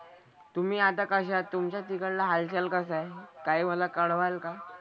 तुम्ही आता कशा आहात? तुमचा तिकडला हालचाल कसा आहे? काही मला कळवाल का?